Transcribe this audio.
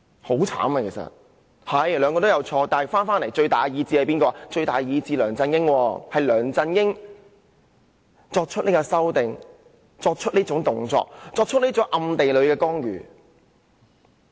雖然他們兩人都有錯，但最大意志的是梁振英，是梁振英作出各項修改、作出暗地干預這動作的。